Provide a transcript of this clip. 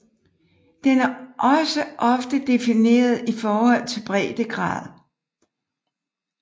Den er også ofte defineret i forhold til breddegrad